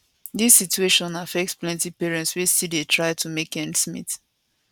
dis situation affect plenti parents wey still dey try to make ends means